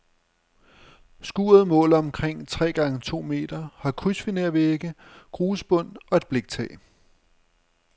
Skuret måler omkring tre gange to meter, har krydsfinervægge, grusbund og et bliktag.